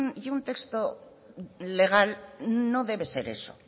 y un texto legal no debe ser eso